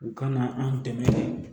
U kana an dɛmɛ